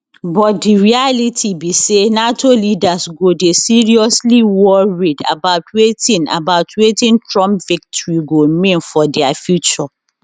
but di reality be say nato leaders go dey seriously worried about wetin about wetin trump victory go mean for dia future